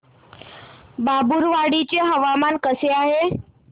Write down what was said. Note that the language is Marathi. बाभुळवाडी चे हवामान कसे आहे